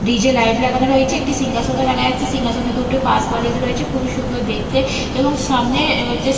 DJ. Light লাগানো রয়েছে একটি সিংহাসনও দেখা যাচ্ছে সিংহাসনে দুটো পাশবালিশ রয়েছে খুবই সুন্দর দেখতে এবং সামনে অ হচ্ছে--